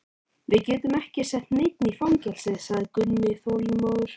Við getum ekki sett neinn í fangelsi, sagði Gunni þolinmóður.